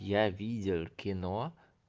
я видел кино